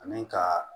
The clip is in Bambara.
Ani ka